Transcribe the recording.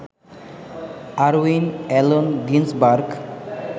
Irwin Allen Ginsberg